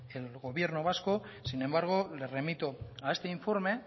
el gobierno vasco sin embargo le remito a este informe